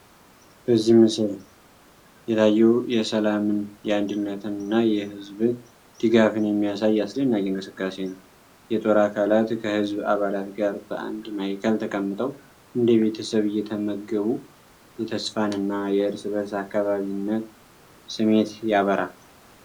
በዚህ ምስል የታየው የሰላምን፣ የአንድነትን እና የህዝብ ድጋፍን የሚያሳየ አስደናቂ እንቅስቃሴ ነው። የጦር አካላት ከህዝብ አባላት ጋር በአንድ ማዕከል ተቀምጠው እንደ ቤተሰብ እየተመገቡ የተስፋን እና የእርስ በእርስ አካባቢነት ስሜት ያበራል።